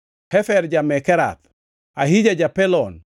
Hefer ja-Mekerath, Ahija ja-Pelon,